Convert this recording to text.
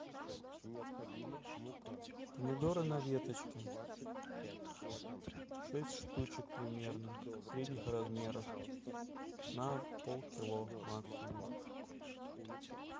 помидоры на веточке шесть штучек примерно средних размеров на полкило максимум